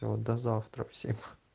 вот до завтра всем